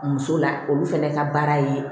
Muso la olu fɛnɛ ka baara ye